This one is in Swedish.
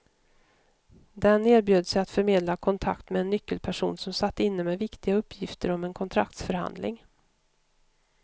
Den erbjöd sig att förmedla kontakt med en nyckelperson som satt inne med viktiga uppgifter om en kontraktsförhandling.